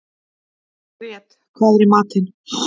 Grét, hvað er í matinn?